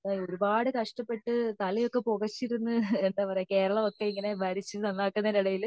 അവരൊക്കെ ഒരുപാട് കഷ്ടപ്പെട്ട് തലയൊക്കെ പോകച്ചിരുന്ന് കേരളം ഒക്കെ ഇങ്ങനെ ഭരിച്ച് നന്നാക്കുന്നതിന്റെ എടേൽ